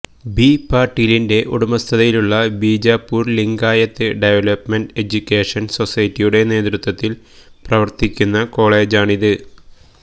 B പാട്ടീലിന്റെ ഉടമസ്ഥതയിലുള്ള Bijapur Lingayat development education സൊസൈറ്റിയുടെ നേതൃത്വത്തില് പ്രവര്ത്തിക്കുന്ന കോളെജാണിത്